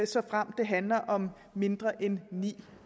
såfremt det handler om mindre end ni